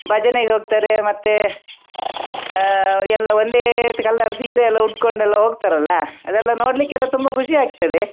ಭಜನೆಗೆ ಹೋಗ್ತಾರೆ ಮತ್ತೆ ಹಾ ಎಲ್ಲಾ ಒಂದೇ colour ಸೀರೆ ಎಲ್ಲಾ ಉಡ್ಕೊಂಡು ಎಲ್ಲಾ ಹೋಗ್ತಾರಲ್ಲಾ ಅದೆಲ್ಲಾ ನೋಡ್ಲಿಕೆ ತುಂಬಾ ಖುಷಿ ಆಗ್ತದೆ.